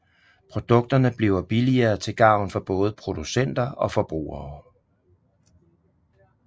Produkterne bliver billigere til gavn for både producenter og forbrugere